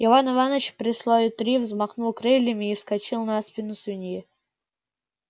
иван иваныч при слове три взмахнул крыльями и вскочил на спину свиньи